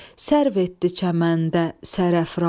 Sərv etdi çəməndə sərafrazi,